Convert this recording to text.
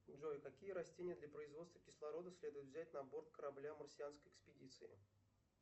джой какие растения для производства кислорода следует взять на борт корабля марсианской экспедиции